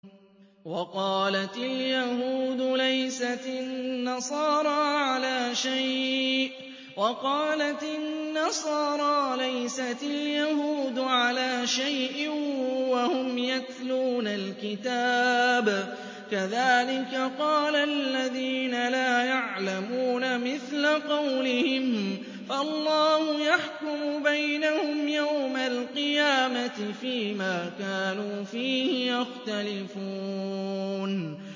وَقَالَتِ الْيَهُودُ لَيْسَتِ النَّصَارَىٰ عَلَىٰ شَيْءٍ وَقَالَتِ النَّصَارَىٰ لَيْسَتِ الْيَهُودُ عَلَىٰ شَيْءٍ وَهُمْ يَتْلُونَ الْكِتَابَ ۗ كَذَٰلِكَ قَالَ الَّذِينَ لَا يَعْلَمُونَ مِثْلَ قَوْلِهِمْ ۚ فَاللَّهُ يَحْكُمُ بَيْنَهُمْ يَوْمَ الْقِيَامَةِ فِيمَا كَانُوا فِيهِ يَخْتَلِفُونَ